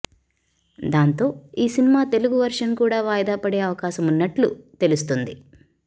దాంతో ఈ సినిమా తెలుగు వర్షన్ కూడా వాయిదా పడే అవకాశం ఉన్నట్లు తెలుస్తుంది